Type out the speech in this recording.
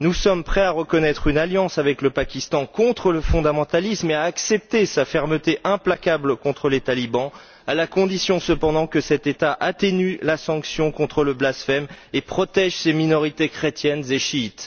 Nous sommes prêts à reconnaître une alliance avec le Pakistan contre le fondamentalisme et à accepter sa fermeté implacable contre les talibans, à la condition cependant que cet État atténue la sanction contre le blasphème et protège ses minorités chrétiennes et chiites.